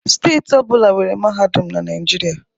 Steeti ọ bụla nwere mahadum na Naịjirịa